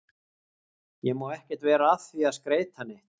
Ég má ekkert vera að því að skreyta neitt.